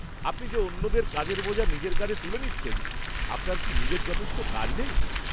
আপনি যে অন্যদের কাজের বোঝা নিজের কাঁধে তুলে নিচ্ছেন, আপনার কি নিজের যথেষ্ট কাজ নেই!